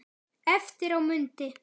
Eftir á mundi